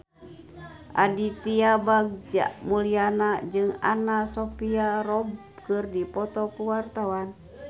Aditya Bagja Mulyana jeung Anna Sophia Robb keur dipoto ku wartawan